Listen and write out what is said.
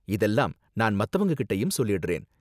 இதெல்லாம் நான் மத்தவங்ககிட்டயும் சொல்லிடுறேன்.